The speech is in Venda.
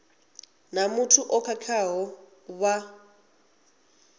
na muthu o khakhaho vha